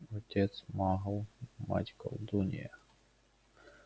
отец магл мать колдунья